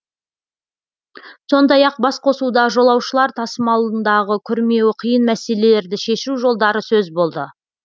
сондай ақ басқосуда жолаушылар тасымалындағы күрмеуі қиын мәселелерді шешу жолдары сөз болды